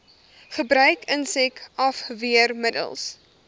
gebruik insek afweermiddels